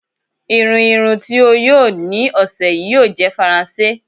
Irùn irùn tí o yóò ní ọṣẹ̀ yí yóò jẹ̀ Faransé.